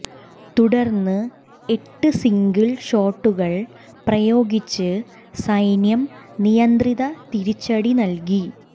തുടര്ന്ന് എട്ട് സിംഗിൾ ഷോട്ടുകൾ പ്രയോഗിച്ച് സൈന്യം നിയന്ത്രിത തിരിച്ചടി നല്കി